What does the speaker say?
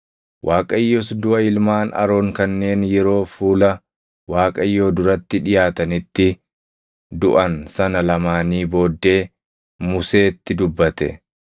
Waaqayyos duʼa ilmaan Aroon kanneen yeroo fuula Waaqayyoo duratti dhiʼaatanitti duʼan sana lamaanii booddee Museetti dubbate.